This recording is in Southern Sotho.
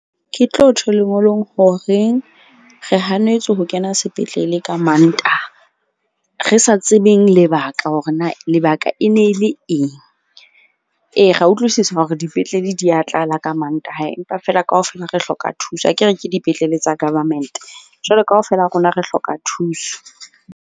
Ke tlo tjho lengolong hore re hanetswe ho kena sepetlele ka Mantaha. Re sa tsebeng lebaka hore na lebaka e ne le eng. Ee, re a utlwisisa hore dipetlele di ya tlala ka Mantaha. Empa feela kaofela re hloka thuso. Akere ke dipetlele tsa government-e jwale kaofela ha rona re hloka thuso.